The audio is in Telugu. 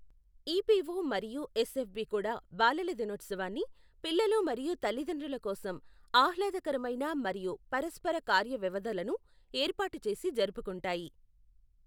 ఈపిఓ మరియు ఎస్ఎఫ్బి కూడా బాలల దినోత్సవాన్ని, పిల్లలు మరియు తల్లిదండ్రుల కోసం ఆహ్లాదకరమైన మరియు పరస్పర కార్యవ్యవధలను ఏర్పాటు చేసి జరుపుకుంటాయి.